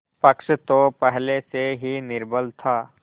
पक्ष तो पहले से ही निर्बल था